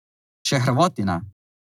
Še Hrvati ne.